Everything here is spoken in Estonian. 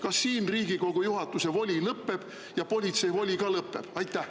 Kas siin Riigikogu juhatuse voli ja ka politsei voli lõpeb?